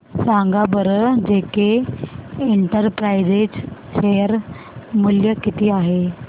सांगा बरं जेके इंटरप्राइजेज शेअर मूल्य किती आहे